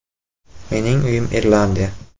Mening uyim Irlandiya.